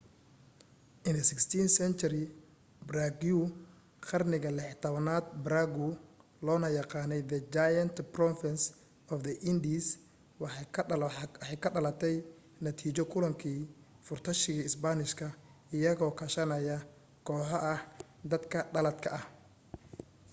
in the 16th century paraguay qarnigii 16aad paraguay loona yaqaanay the giant province of the indies waxay ka dhalatay natiijo kulankii furtayaashi spanishka iyagoo kaashanaya kooxo ah dadka dhaladka ah